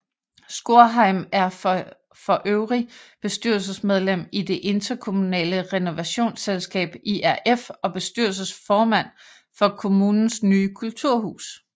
Skorheim er forøvrig bestyrelsesmedlem i det interkommunale renovasionsselskab IRF og bestyrelsesformand for kommunens nye kulturhus